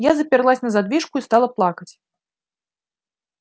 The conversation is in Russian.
я заперлась на задвижку и стала плакать